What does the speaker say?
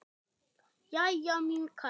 Jæja, mín kæra.